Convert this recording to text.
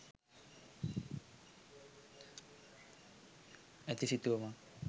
ඇති සිතුවමක්.